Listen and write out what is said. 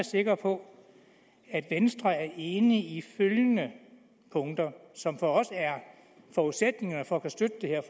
sikker på at venstre er enig i følgende punkter som for os er forudsætningerne for at kunne støtte det her